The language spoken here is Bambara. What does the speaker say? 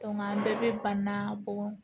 an bɛɛ bɛ ba na bɔ